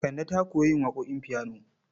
Kande ta koyi yin waƙoƙin fiyano.